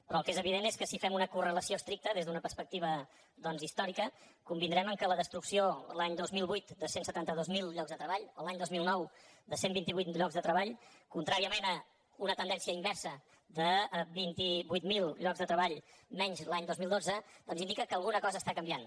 però el que és evident és que si fem una correlació estricta des d’una perspectiva doncs històrica convindrem que la destrucció l’any dos mil vuit de cent i setanta dos mil llocs de treball i l’any dos mil nou de cent i vint vuit mil llocs de treball contràriament a una tendència inversa de vint vuit mil llocs de treball menys l’any dos mil dotze doncs indica que alguna cosa està canviant